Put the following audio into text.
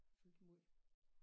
Fyldt måj